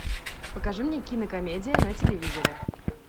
покажи мне кинокомедия на телевизоре